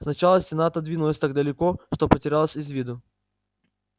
сначала стена отодвинулась так далеко что потерялась из виду